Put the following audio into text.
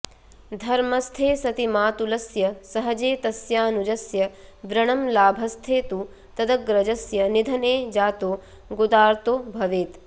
धर्मस्थे सति मातुलस्य सहजे तस्यानुजस्य व्रणं लाभस्थे तु तदग्रजस्य निधने जातो गुदार्तो भवेत्